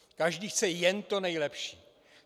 Každý chce jen to nejlepší.